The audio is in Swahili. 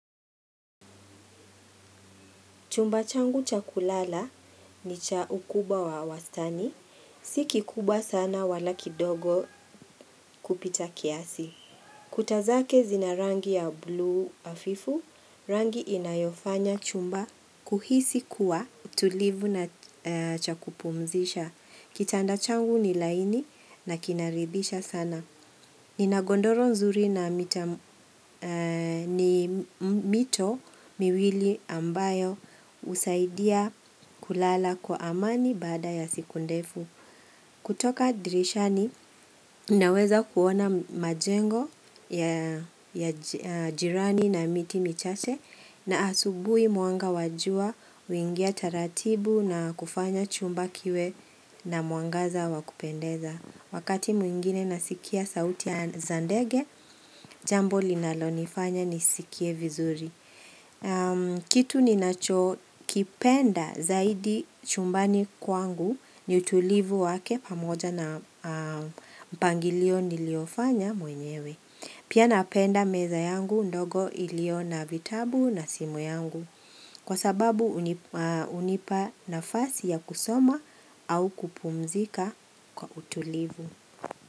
Chumba changu chakulala ni cha ukubwa wa wastani, si kikubwa sana wala kidogo kupita kiasi. Kuta zake zinarangi ya blue hafifu, rangi inayofanya chumba kuhisi kuwa tulivu na cha kupumzisha. Kitanda changu ni laini na kinaridhisha sana. Nina godoro nzuri na mito miwili ambayo husaidia kulala kwa amani baada ya siku ndefu. Kutoka dirishani, naweza kuona majengo ya jirani na miti mi chache na asubui mwanga wajua huingia taratibu na kufanya chumba kiwe na mwangaza wa kupendeza. Wakati mwingine nasikia sauti za ndege, jambo linalo nifanya nisikie vizuri. Kitu ninacho kipenda zaidi chumbani kwangu ni utulivu wake pamoja na mpangilio niliofanya mwenyewe. Pia napenda meza yangu ndogo ilio na vitabu na simu yangu. Kwa sababu hunipa nafasi ya kusoma au kupumzika kwa utulivu.